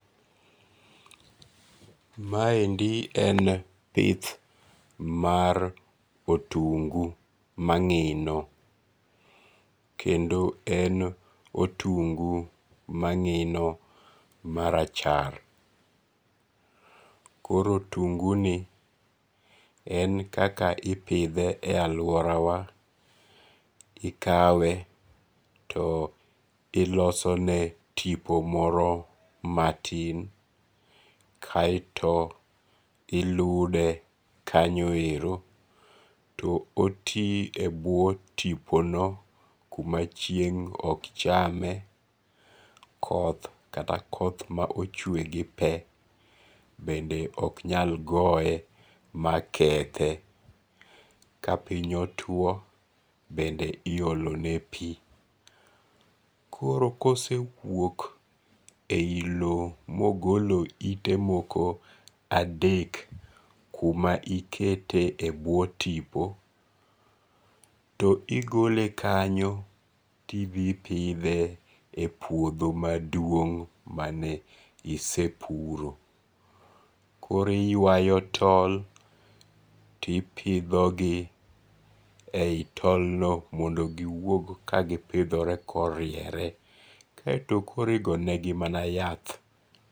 Maendi en pith mar otungu mangi'no, kendo en otungu mangi'no marachar, koro otunguni en kaka ipithe e aluorawa, ikawe to ilosone tipo moro matin kaeto ilude kanyo ero to koti e bwo tipono kuma chieng' ok chame koth kata koth ma ocwh gi pe bende ok nyal goye makethe, ka piny otwo bende iyolone pi, koro ka osewuok e yi lowo ma ogolo yite moko adek kuma ikete e bwo tipo to igole kanyo to ithipithe e pwotho maduong ' mane isepuro koro iywayo tol to ipithogi e tolno mondo eka giwuok moriere kendo koro ogonegi mana yath